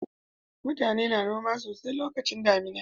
Mutane suna noma sosai a lokacin damina